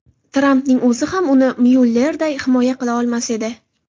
Trampning o‘zi ham uni Myullerday himoya qila olmas edi.